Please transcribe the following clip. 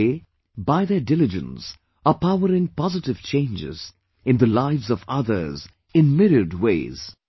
They, by their diligence, are powering positive changes in the lives of others in myriad ways